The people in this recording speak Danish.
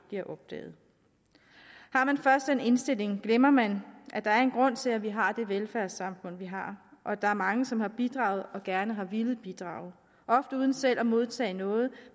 bliver opdaget har man først den indstilling glemmer man at der en grund til at vi har det velfærdssamfund vi har og at der er mange som har bidraget og gerne har villet bidrage ofte uden selv at modtage noget